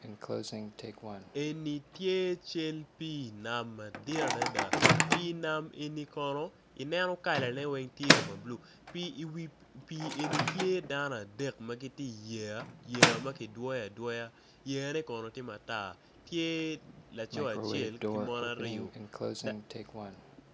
En tye cal pii nam madit adada pii nam eni kalane tye ma bulu dano adek gitye i wi pii tye laco acel ki mon aryo